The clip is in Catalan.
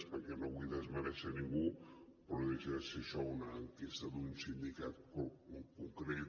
perquè no vull desmerèixer ningú però no deixa de ser això una enquesta d’un sindicat concret